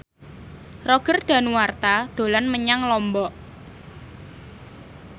Roger Danuarta dolan menyang Lombok